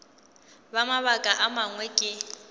ka mabaka a mangwe ke